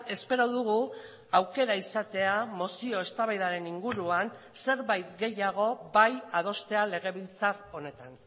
espero dugu aukera izatea mozio eztabaidaren inguruan zerbait gehiago bai adostea legebiltzar honetan